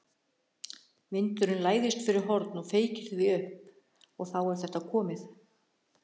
Vindurinn læðist fyrir horn og feykir því upp. og þá er þetta komið.